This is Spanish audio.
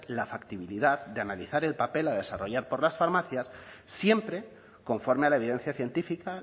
la factibilidad de analizar el papel a desarrollar por las farmacias siempre conforme a la evidencia científica